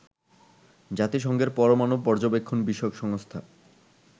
জাতিসংঘের পরমানু পর্যবেক্ষণ বিষয়ক সংস্থা